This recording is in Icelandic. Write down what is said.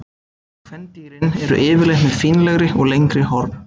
Kvendýrin eru yfirleitt með fínlegri og lengri horn.